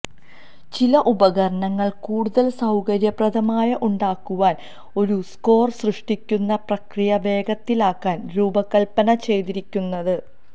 ചില ഉപകരണങ്ങൾ കൂടുതൽ സൌകര്യപ്രദമായ ഉണ്ടാക്കുവാൻ ഒരു സ്കോർ സൃഷ്ടിക്കുന്ന പ്രക്രിയ വേഗത്തിലാക്കാൻ രൂപകൽപ്പന ചെയ്തിരിക്കുന്നത്